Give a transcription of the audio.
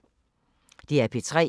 DR P3